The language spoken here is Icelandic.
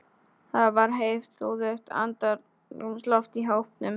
Það var heiftúðugt andrúmsloft í hópnum.